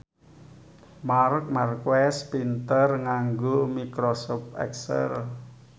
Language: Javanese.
Marc Marquez pinter nganggo microsoft excel